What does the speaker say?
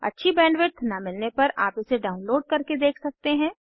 अच्छी बैंडविड्थ न मिलने पर आप इसे डाउनलोड करके देख सकते हैं